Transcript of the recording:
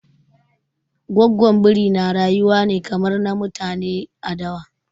Gwaggon Biri na rayuwa kamar na mutane ne a dawa.